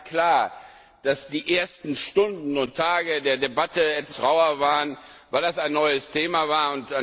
Da war ganz klar, dass die ersten Stunden und Tage der Debatte etwas rauer waren, weil das ein neues Thema war.